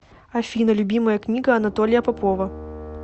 афина любимая книга анатолия попова